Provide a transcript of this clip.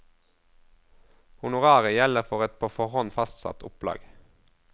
Honoraret gjelder for et på forhånd fastsatt opplag.